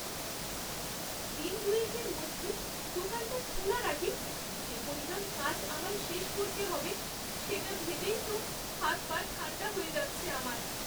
দিন দুয়েকের মধ্যে দোকানটা খোলার আগে যে পরিমাণ কাজ আমায় শেষ করতে হবে সেটা ভেবেই তো হাত পা ঠাণ্ডা হয়ে যাচ্ছে আমার।